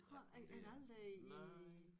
Havde man aldrig i